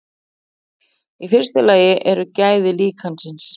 Í fyrsta lagi eru gæði líkansins.